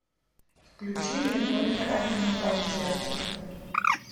включи мне только одинокое сердце